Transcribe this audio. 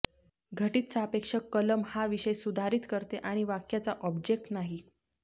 घटित सापेक्ष कलम हा विषय सुधारित करते आणि वाक्याचा ऑब्जेक्ट नाही